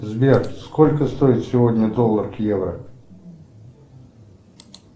сбер сколько стоит сегодня доллар к евро